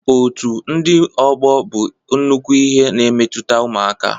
Otu ndị ọgbọ bụ nnukwu ihe na-emetụta ụmụaka